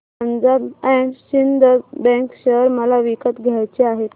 Punjab and Sind bank share मला विकत घ्यायचे आहेत